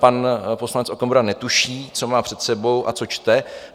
Pan poslanec Okamura netuší, co má před sebou a co čte.